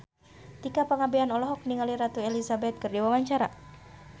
Tika Pangabean olohok ningali Ratu Elizabeth keur diwawancara